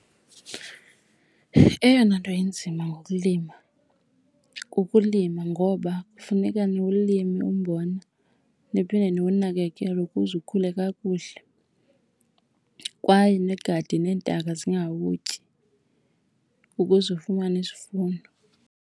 Eyona nto inzima ngokulima kukulima, ngoba kufuneka niwulime umbona niphinde niwunakakele ukuze ukhule kakuhle kwaye nigade neentaka zingawutyi ukuze ufumane isivuno.